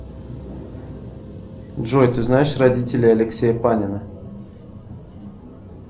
джой ты знаешь родителей алексея панина